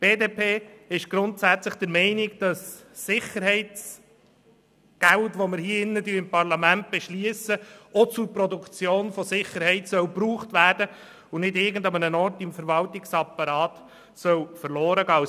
Die BDP ist grundsätzlich der Meinung, dass das Geld für Sicherheit, das wir hier im Parlament beschliessen, auch zur Produktion von Sicherheit gebraucht werden und nicht irgendwo im Verwaltungsapparat verloren gehen soll.